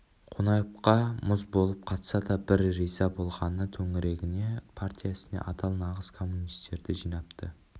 қонаевқа мұз болып қатса да бір риза болғаны төңірегіне партия ісіне адал нағыз коммунистерді жинапты